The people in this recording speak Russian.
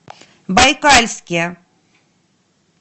байкальске